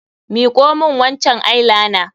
Miƙo min wancan eye liner!